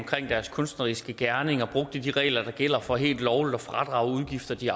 deres kunstneriske gerning og brugte de regler der gælder for helt lovligt at fradrage udgifter de